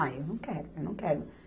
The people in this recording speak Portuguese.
Ah, eu não quero, eu não quero.